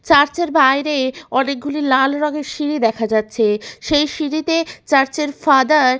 church এর বাইরে অনেকগুলি লাল রঙের সিঁড়ি দেখা যাচ্ছে সেই সিঁড়ি তে চার্চ এর ফাদার --